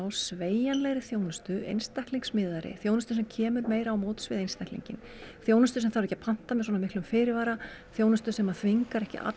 sveigjanlegri þjónustu einstaklingsmiðaðri þjónustu sem kemur meira á móts við einstaklinginn þjónustu sem þarf ekki að panta með svona miklum fyrirvara þjónustu sem þvingar ekki